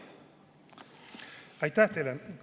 Aitäh teile!